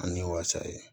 Ani wasa ye